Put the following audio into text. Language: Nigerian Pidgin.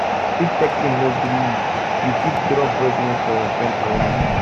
if texting no gree you you fit drop voice note for your friend online